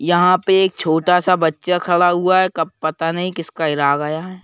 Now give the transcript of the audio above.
यहां पे एक छोटा सा बच्चा खड़ा हुआ है कब पाता नहीं किसका हेरा गया है।